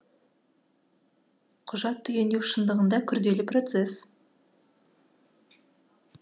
құжат түгендеу шындығында күрделі процес